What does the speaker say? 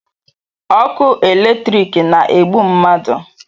ọkụ eletriki na-egbu mmadụ